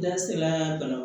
N da sera ka na